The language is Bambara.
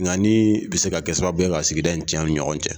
Binkani bɛ se ka kɛ sababu ye ka sigida in tiɲɛ an ni ɲɔgɔn cɛ.